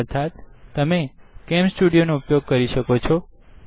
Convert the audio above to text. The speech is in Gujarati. અર્થાત તમે CamStudioકેમ સ્ટુડીઓનો ઉપયોગ કરી શકો છો